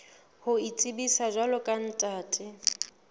ho itsebisa jwalo ka ntate